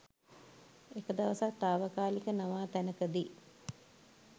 එක දවසක් තාවකාලික නවාතැනකදි